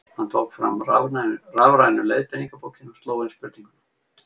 Hann tók fram rafrænu leiðbeiningabókina og sló inn spurninguna;